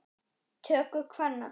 töku kvenna.